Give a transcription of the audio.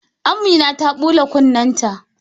Amina ta bula kunne ta